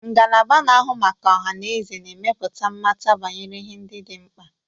Ngalaba na-ahụ maka ọha na eze na-emepụta mmata banyere ihe ndị dị mkpa.